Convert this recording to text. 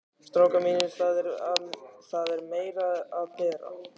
STRÁKAR MÍNIR, ÞAÐ ER MEIRA AÐ BERA.